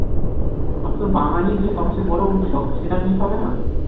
অন্তত বাঙালির যে সবচেয়ে বড় উৎসব সেটা miss হবে না